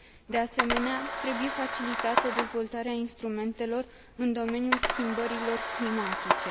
De asemenea, trebuie facilitată dezvoltarea instrumentelor în domeniul schimbărilor climatice.